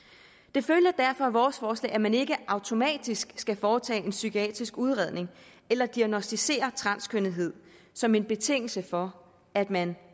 det følger derfor af vores forslag at man ikke automatisk skal foretage en psykiatrisk udredning eller diagnosticere transkønnethed som en betingelse for at man